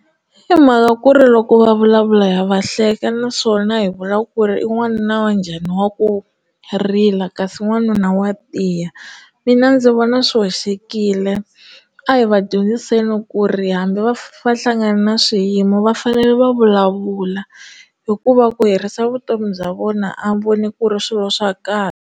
I mhaka ku ri loko va vulavula ha va hleka naswona hi vula ku ri i n'wanuna wa njhani wa ku rila kasi n'wanuna wa tiya mina ndzi vona swi hoxekile a hi va dyondziseni ku ri hambi va hlangana na swiyimo va fanele va vulavula hikuva ku herisa vutomi bya vona a voni ku ri swilo swa kahle.